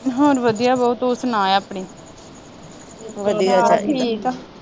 ਹੋਰ ਵਧੀਆ ਬਾਊ ਤੂੰ ਸੁਣਾ ਆਪਣੀ